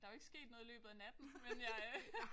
Der jo ikke sket noget i løbet af natten men jeg øh